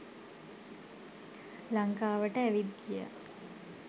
ලංකාවට ඇවිත් ගියා.